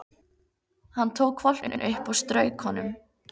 Hann tók hvolpinn upp og strauk honum.